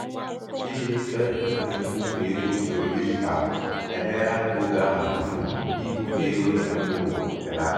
ịdị mfe nke mbufe ego usoro digitalụ emeela ka oge ana-atufu n'ibufe ego nke mba ụwa belata.